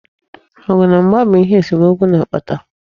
Ọgụ na mgba bu ihe esomokwu na-akpata.